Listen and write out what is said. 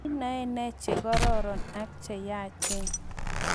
Inoe ne che kororon ak che yaachen?